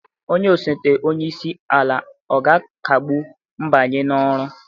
Onye osote onye isi ala ọ ga-akagbu mbanye n'ọrụ?